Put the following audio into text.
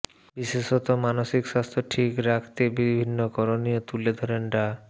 বিশেষত মানসিক স্বাস্থ্য ঠিক রাখতে বিভিন্ন করণীয় তুলে ধরেন ডা